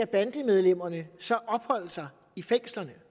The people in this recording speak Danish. bandemedlemmerne så skal opholde sig i fængslerne